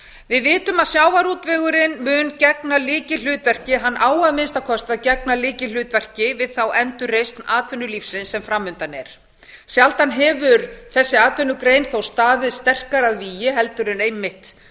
við vitum að sjávarútvegurinn mun gegna lykilhlutverki hann á að minnsta kosti að gegna lykilhlutverki við þá endurreisn atvinnulífsins sem fram undan er sjaldan hefur þessi atvinnugrein þó staðið sterkar að vígi heldur en